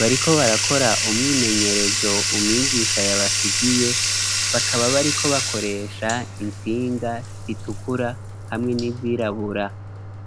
bariko barakora umwimenyerezo umwigisha yabasigiye, bakaba bariko bakoresha intsinga zitukura hamwe n'izirabura.